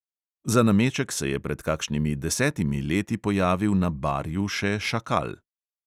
Za nameček se je pred kakšnimi desetimi leti pojavil na barju še šakal.